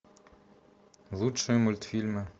лучшие мультфильмы